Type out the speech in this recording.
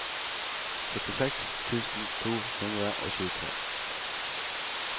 syttiseks tusen to hundre og tjuetre